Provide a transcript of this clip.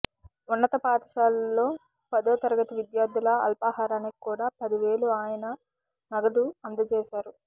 ఉన్నత పాఠశాలలో పదో తరగతి విద్యార్థుల అల్పాహారానికి కూడా పది వేలు ఆయన నగదు అందజేశారు